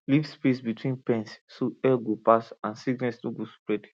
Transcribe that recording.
leave space between pens so air go pass and sickness no go spread